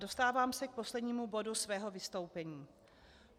Dostávám se k poslednímu bodu svého vystoupení.